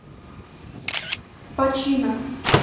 починок